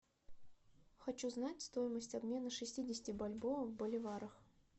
хочу знать стоимость обмена шестидесяти бальбоа в боливарах